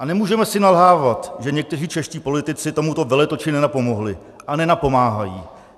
A nemůžeme si nalhávat, že někteří čeští politici tomuto veletoči nenapomohli a nenapomáhají.